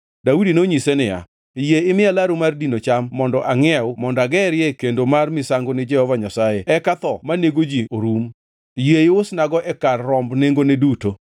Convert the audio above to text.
Daudi nonyise niya, “Yie imiya laru mar dino cham mondo angʼiew mondo agerie kendo mar misango ni Jehova Nyasaye eka tho manego ji orum. Yie iusnago e kar romb nengone duto.”